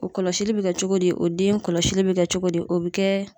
O kɔlɔsili bi kɛ cogo di, o den kɔlɔsili bɛ kɛ cogo di, o bɛ kɛ